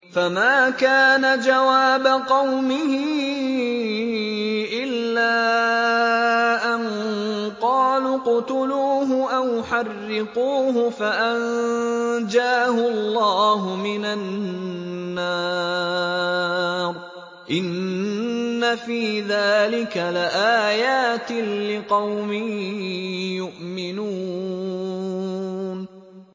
فَمَا كَانَ جَوَابَ قَوْمِهِ إِلَّا أَن قَالُوا اقْتُلُوهُ أَوْ حَرِّقُوهُ فَأَنجَاهُ اللَّهُ مِنَ النَّارِ ۚ إِنَّ فِي ذَٰلِكَ لَآيَاتٍ لِّقَوْمٍ يُؤْمِنُونَ